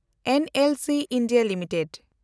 NLC India limited